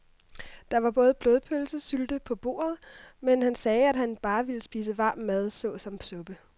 Der var både blodpølse og sylte på bordet, men han sagde, at han bare ville spise varm mad såsom suppe.